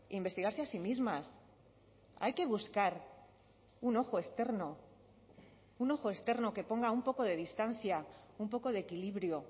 investigarse a sí mismas hay que buscar un ojo externo un ojo externo que ponga un poco de distancia un poco de equilibrio